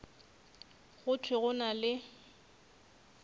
go thwe go na le